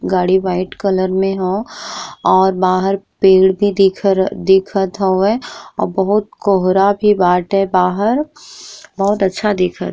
गाड़ी white colour में हो और बाहर पेड़ भी दिखर दिखत हवे और बोहोत कोहरा भी बाटे बाहर बोहोत अच्छा दिखत।